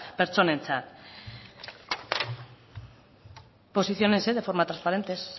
pertsonentzat posiciones de forma transparente es